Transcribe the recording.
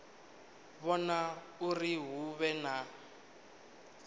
vhona uri hu vhe na